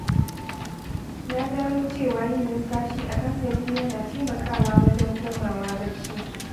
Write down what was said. Na gano cewa yin numfashi a hankali yana taimakawa wajen komawa bacci.